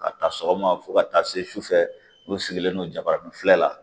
Ka taa sɔgɔma fo ka taa se su sufɛ olu sigilen don jabaranin filɛ la